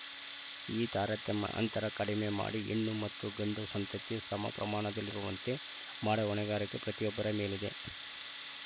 ಈ ತಾರತಮ್ಯ ಅಂತರ ಕಡಿಮೆ ಮಾಡಿ ಹೆಣ್ಣು ಮತ್ತು ಗಂಡು ಸಂತತಿ ಸಮ ಪ್ರಮಾಣದಲ್ಲಿರುವಂತೆ ಮಾಡುವ ಹೊಣೆಗಾರಿಕೆ ಪ್ರತಿಯೊಬ್ಬರ ಮೇಲಿದೆ